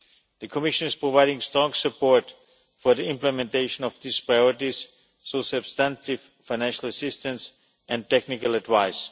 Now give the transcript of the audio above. The Commission is providing strong support for the implementation of these priorities through substantive financial assistance and technical advice.